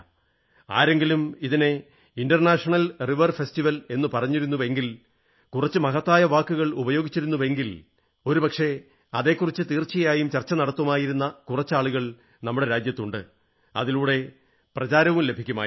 ആരെങ്കിലും ഇതിനെ international river festival എന്നു പറഞ്ഞിരുന്നെങ്കിൽ കുറച്ചു മഹത്തായ വാക്കുകൾ ഉപയോഗിച്ചിരുന്നെങ്കിൽ ഒരുപക്ഷേ അതെക്കുറിച്ച് തീർച്ചയായും ചർച്ച നടത്തുമായിരുന്ന കുറച്ചാളുകൾ നമ്മുടെ രാജ്യത്തുണ്ട് അതിലൂടെ പ്രചാരവും ലഭിക്കുമായിരുന്നു